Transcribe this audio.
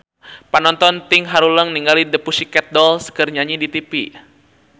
Panonton ting haruleng ningali The Pussycat Dolls keur nyanyi di tipi